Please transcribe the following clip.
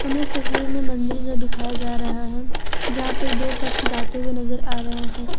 हमें इस तस्वीर में मंदिर सा दिखाया जा रहा है जहां पे दो शख्स जाते हुए नजर आ रहे हैं।